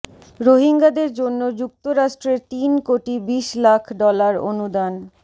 রোহিঙ্গাদের জন্য যুক্তরাষ্ট্রের তিন কোটি বিশ লাখ ডলার অনুদান